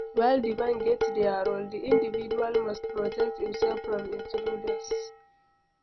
while di bank get their role, di individual must protect im self from intruders